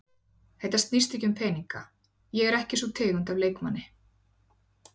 Þetta snýst ekki um peninga, ég er ekki sú tegund af leikmanni.